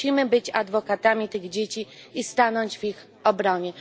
Musimy być adwokatami tych dzieci i stanąć w ich obronie.